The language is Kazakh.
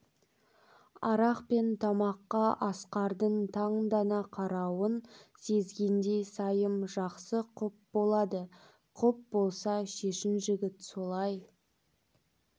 арақ пен тамаққа асқардың таңдана қарауын сезгендей сайым жақсы құп болады құп болса шешін жігіт солай